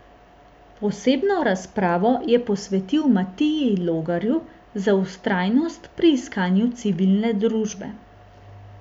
Posebno razpravo je posvetil Matiji Logarju za vztrajnost pri iskanju civilne družbe.